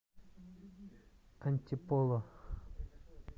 антиполо